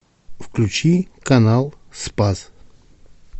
включи канал спас